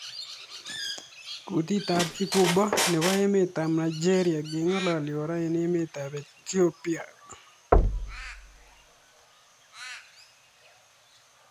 Kutit ab Igbo nebo emet ab Nigeria keng'alali kora eng emet ab Ethiopia .